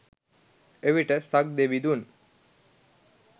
එවිට සක්දෙවිඳුන්